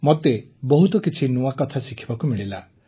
ମୋତେ ବହୁତ କିଛି ନୂଆ କଥା ଶିଖିବାକୁ ମିଳିଲା